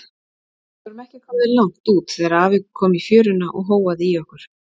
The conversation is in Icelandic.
Við vorum ekki komnir langt út þegar afi kom í fjöruna og hóaði í okkur.